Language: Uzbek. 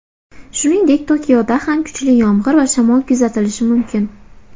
Shuningdek, Tokioda ham kuchli yomg‘ir va shamol kuzatilishi mumkin.